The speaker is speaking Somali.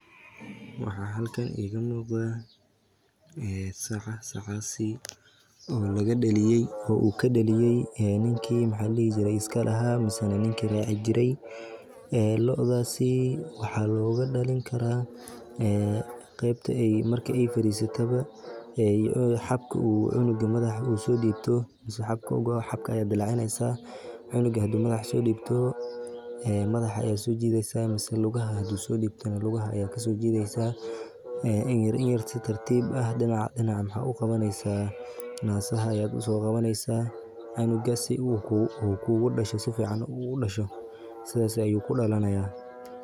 Waxaa halkan iiga muuqda saca oo laga daliye oo ninka iska lahaa ka daliye waxaa looga dalin karaa marki aay fadiisato xabka ayaa dilacineysa in yar si tartiib ah nasaha ayaa soo qabaneysa sidaas ayuu ku dalanaaya.